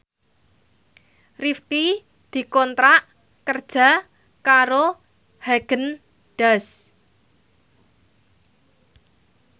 Rifqi dikontrak kerja karo Haagen Daazs